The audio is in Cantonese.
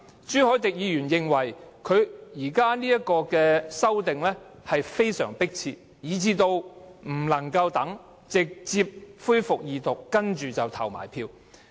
朱凱廸議員認為《條例草案》非常迫切，不能再等，而要立即恢復二讀，然後進行投票。